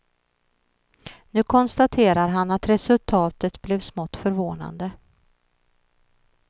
Nu konstaterar han att resultatet blev smått förvånande.